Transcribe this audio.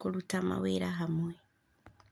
kũruta mawĩra hamwe.